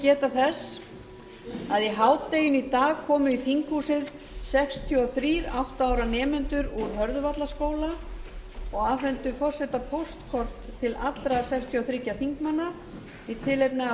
geta þess að í hádeginu í dag komu í þinghúsið sextíu og þriggja átta ára nemendur úr hörðuvallaskóla og afhentu forseta póstkort til allra sextíu og þriggja þingmanna í tilefni af